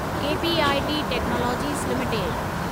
KPIT technologies limited